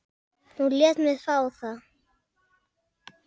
Hún lét mig fá það.